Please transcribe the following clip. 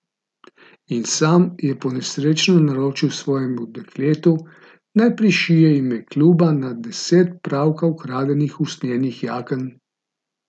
In sam je ponesrečeno naročil svojemu dekletu, naj prišije ime kluba na deset pravkar ukradenih usnjenih jaken.